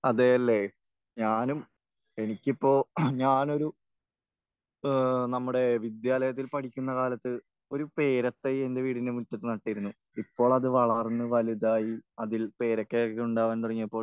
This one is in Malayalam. അതെയല്ലേ? ഞാനും എനിക്കിപ്പോൾ ഞാനൊരു ഏഹ് നമ്മുടെ വിദ്യാലയത്തിൽ പഠിക്കുന്ന കാലത്ത് ഒരു പേരത്തൈ എന്റെ വീടിന്റെ മുറ്റത്ത് നട്ടിരുന്നു. ഇപ്പോൾ അത് വളർന്ന് വലുതായി അതിൽ പേരയ്ക്കയൊക്കെ ഉണ്ടാകാൻ തുടങ്ങിയപ്പോൾ